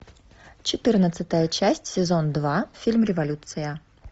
четырнадцатая часть сезон два фильм революция